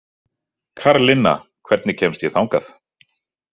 Karlinna, hvernig kemst ég þangað?